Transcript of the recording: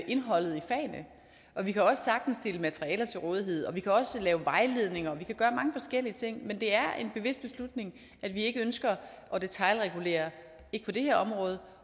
indholdet i fagene og vi kan også sagtens stille materiale til rådighed vi kan også lave vejledninger vi kan gøre mange forskellige ting men det er en bevidst beslutning at vi ikke ønsker at detailregulere ikke på det her område